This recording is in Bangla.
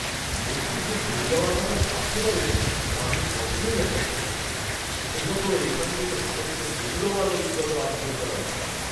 নেত্রী যে চলে যাওয়ার কথা ভাবতে পারেন তা আমি কখনোই আশা করিনি, বিশেষত এখান থেকে সমস্ত মূল্যবান অভিজ্ঞতা অর্জন করার পর।